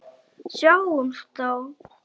Sjáumst þá!